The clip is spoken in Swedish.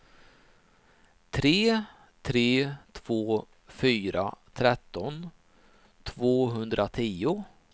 tre tre två fyra tretton tvåhundratio